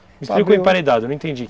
Me explica o emparedado, eu não entendi.